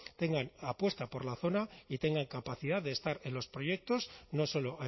tengan apuesta por la zona y tengan capacidad de estar en los proyectos no solo